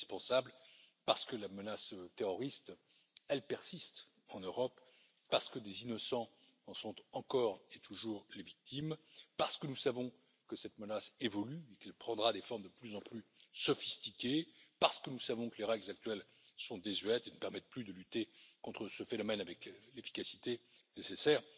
C'est indispensable parce que la menace terroriste persiste en Europe, parce que des innocents en sont encore et toujours les victimes, parce que nous savons que cette menace évolue et qu'elle prendra des formes de plus en plus sophistiquées, parce que nous savons que les règles actuelles sont désuètes et ne permettent plus de lutter contre ce phénomène avec l'efficacité nécessaire.